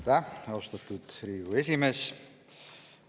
Aitäh, austatud Riigikogu esimees!